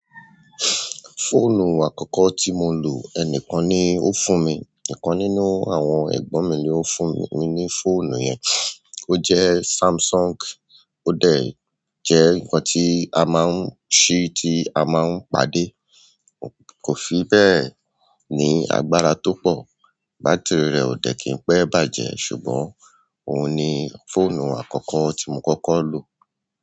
Fóònù àkọ́kọ́ tí mo lò, ẹnìkan ni ó fún mi, ikan nínú àwọn ẹ̀gbọ́n mi ni ó fún mi ní fóònù yẹn. O jẹ́ Samsung, ó dẹ̀ jẹ́ nǹkan tí a máa ń ṣí, tí a máa ń pàdé. Kò fi bẹ́ẹ̀ ní agbára tó pọ̀, bátìrì rẹ̀ ò dẹ̀ kí n pẹ́ bàjẹ́ ṣùgbọ́n òun ni fóònù àkọ́kọ́ tí mo kọ́kọ́ lò.